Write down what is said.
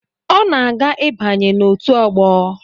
Ọ na-aga ịbanye na otu ọgbọ.